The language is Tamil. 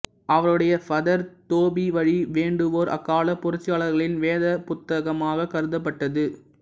அவருடைய பதேர் தோபிவழி வேண்டுவோர் அக்கால புரட்சியாளர்களின் வேதப் புத்தகமாக கருதப்பட்டது